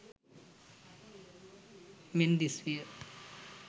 මෙන් දිස් විය.